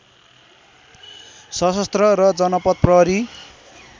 सशस्त्र र जनपथ प्रहरी